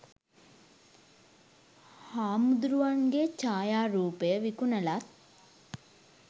හාමුදුරුවන්ගේ ඡායාරූපය විකුණලත්